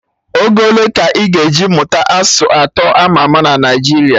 Oge ole ka ị ga-eji mụta asụsụ atọ ama ama na Naijiria